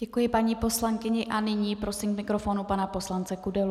Děkuji paní poslankyni a nyní prosím k mikrofonu pana poslance Kudelu.